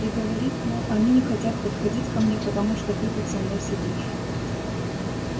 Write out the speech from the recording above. и говорит мол они не хотят подходить ко мне потому что ты тут со мной сидишь